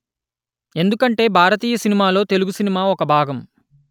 ఎందుకంటే భారతీయ సినిమాలో తెలుగు సినిమా ఒక భాగం